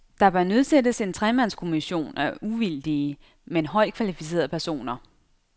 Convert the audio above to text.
Der bør nedsættes en tremandskommission af uvildige, men højt kvalificerede personer.